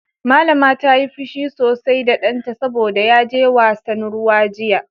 Mallama ta yi fushi sosai da danta saboda ya je wasan ruwa jiya.